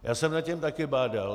Já jsem nad tím taky bádal.